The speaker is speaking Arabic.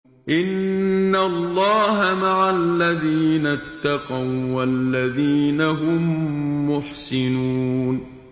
إِنَّ اللَّهَ مَعَ الَّذِينَ اتَّقَوا وَّالَّذِينَ هُم مُّحْسِنُونَ